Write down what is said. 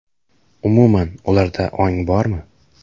Umuman ularda ong bormi?